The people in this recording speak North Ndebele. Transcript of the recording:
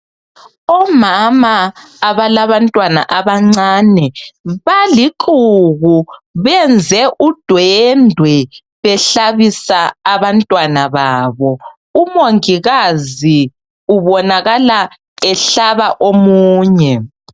Omama abalabantwana abancane balixuku benze udwendwe behlabisa abantwana babo. UMongikazi ubonakala ehlaba omunye.